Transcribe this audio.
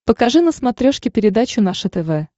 покажи на смотрешке передачу наше тв